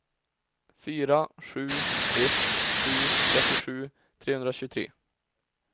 fyra sju ett sju trettiosju trehundratjugotre